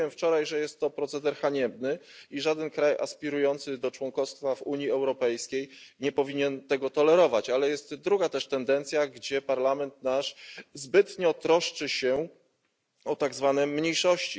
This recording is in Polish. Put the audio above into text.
Mówiłem wczoraj, że jest to proceder haniebny i żaden kraj aspirujący do członkostwa w Unii Europejskiej nie powinien tego tolerować, ale jest druga też tendencja, gdzie Parlament nasz zbytnio troszczy się o tak zwane mniejszości.